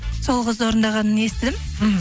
сол қыздың орындағанын естідім мхм